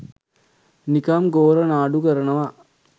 නිකම් ගෝරනාඩු කරනවා